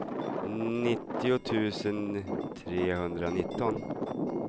nittio tusen trehundranitton